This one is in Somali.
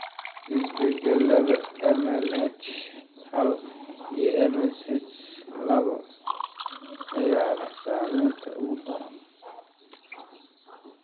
Isbeddellada MLH hal iyo MSH labo ayaa leh saamaynta ugu daran.